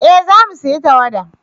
eh za mu saya tawada